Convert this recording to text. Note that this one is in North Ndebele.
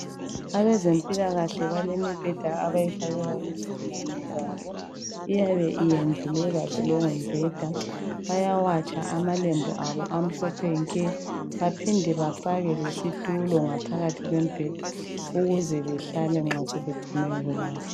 Abezempilakahle balemibheda abayifakela izigulane zabo . Iyabe iyendlulwe kahle leyo mibheda . Bayawatsha amalembu abo amhlophe nke. Baphinde bafake lesitulo ngaphakathi kwemibheda ukuze behlale nxa sebedinwe yikulala.